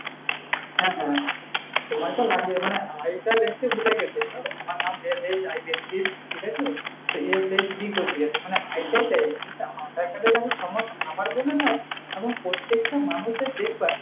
হ্যাঁ সময়টা লাগবে মানে, I card এক set বেরহয়ে গেছে। তো আমার নাম ঠিক আছে? তো SHV করে দিয়েছে মানে I টায় দেয়নি। আধার-কার্ড এ তো আমার ভুল হয় নাই। এমন প্রত্যেকটা মানুষের দেখবা,